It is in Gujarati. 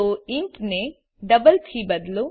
તો ઇન્ટ ને ડબલ થી બદલો